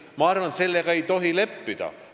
Ma arvan, et sellega ei tohi leppida.